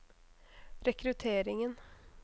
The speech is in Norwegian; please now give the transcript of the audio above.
rekrutteringen